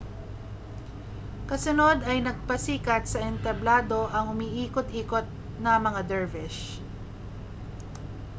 kasunod ay nagpasikat sa entablado ang umiikot-ikot na mga dervish